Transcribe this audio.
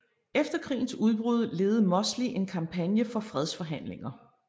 Efter krigens udbrud ledede Mosley en kampagne for fredsforhandlinger